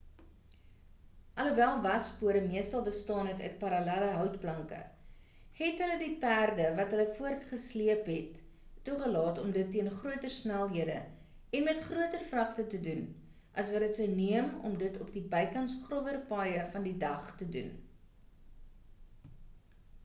alhoewel waspore meestal bestaan het uit parallelle houtplanke het hulle die perde wat hulle voortgesleep het toegelaat om dit teen groter snelhede en met groter vragte te doen as wat dit sou neem om dit op die bykans growwer paaie van die dag te doen